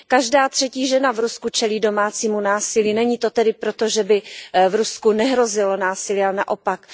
Každá třetí žena v Rusku čelí domácímu násilí. Není to tedy proto, že by v Rusku nehrozilo násilí, ale naopak.